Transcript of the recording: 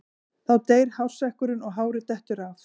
Þá deyr hársekkurinn og hárið dettur af.